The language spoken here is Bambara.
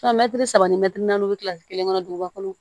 saba ni mɛtiri naani o bɛ kila kelen kɔnɔ duguba kɔnɔ